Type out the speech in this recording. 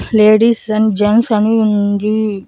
Ladies and gents అని ఉంది.